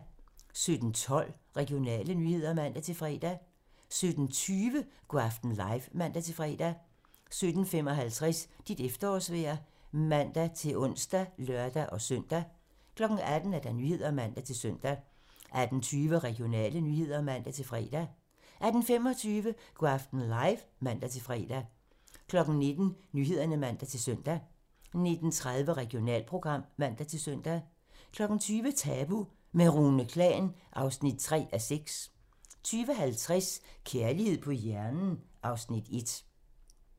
17:12: Regionale nyheder (man-fre) 17:20: Go' aften live (man-fre) 17:55: Dit efterårsvejr (man-ons og lør-søn) 18:00: Nyhederne (man-søn) 18:20: Regionale nyheder (man-fre) 18:25: Go' aften live (man-fre) 19:00: Nyhederne (man-søn) 19:30: Regionalprogram (man-søn) 20:00: Tabu - med Rune Klan (3:6) 20:50: Kærlighed på hjernen (Afs. 1)